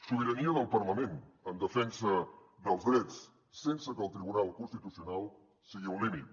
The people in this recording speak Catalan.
sobirania del parlament en defensa dels drets sense que el tribunal constitucional sigui un límit